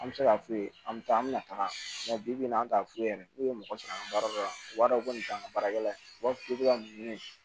An bɛ se k'a f'u ye an bɛ taa an bɛna taga bibi in na an t'a f'u ye n'u ye mɔgɔ sɔrɔ an ka baara la u b'a dɔn ko nin t'an ka baarakɛla ye u b'a fɔ k'i bɛ ka mun ɲini